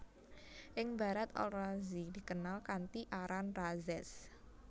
Ing Barat Al Razi dikenal kanthi aran Rhazes